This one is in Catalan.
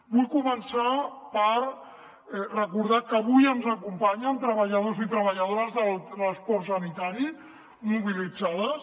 vull començar per recordar que avui ens acompanyen treballadors i treballadores del transport sanitari mobilitzades